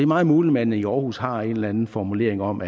meget muligt at man i aarhus har en eller anden formulering om